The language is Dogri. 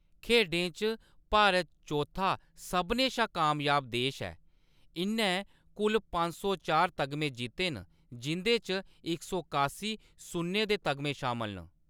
खेढें च भारत चौथा सभनें शा कामयाब देश ऐ; इʼन्नै कुल पंज सौ चार तगमे जित्ते न, जिं'दे च इक सौ कासी सुन्ने दे तगमे शामल न।